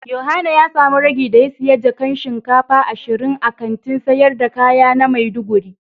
Yohana ya samu ragi da ya siya jakan shinkafa ashirin a Kantin sayar da kaya na maiduguri.